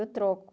Eu troco.